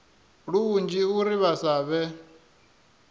lunzhi uri vha sa vhe